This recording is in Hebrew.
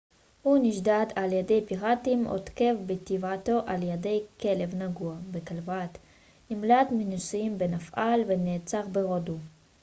הוא נשדד על ידי פיראטים הותקף בטיבט על ידי כלב נגוע בכלבת נמלט מנישואים בנפאל ונעצר בהודו